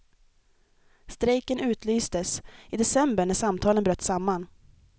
Strejken utlystes i december när samtalen bröt samman.